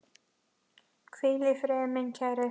Hvíl í friði, minn kæri.